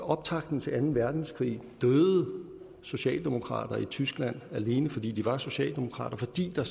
optakten til anden verdenskrig døde socialdemokrater i tyskland alene fordi de var socialdemokrater fordi der